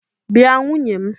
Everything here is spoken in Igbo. Bịa nwunye m!